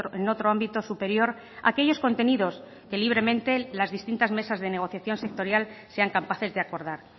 en otro ámbito superior aquellos contenidos que libremente las distintas mesas de negociación sectorial sean capaces de acordar